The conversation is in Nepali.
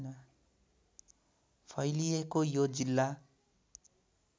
फैलिएको यो जिल्ला